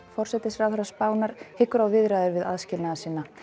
forsætisráðherra Spánar hyggur á viðræður við aðskilnaðarsinna